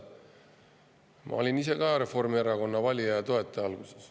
Ma olin ise ka Reformierakonna valija ja toetaja alguses.